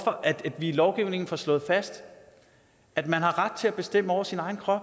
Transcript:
at vi i lovgivningen får slået fast at man har ret til at bestemme over sin egen krop